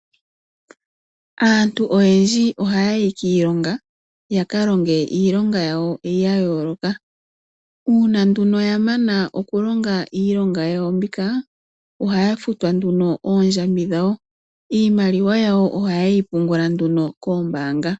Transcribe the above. Aantu oyendji ohaya yi kiilonga yaka longe iilonga yawo ya yooloka, uuna ya mana okulonga iilonga yawo mbika ohaya futwa oondjambi dhawo iimaliwa yawo ohayeyi pungula koombanga.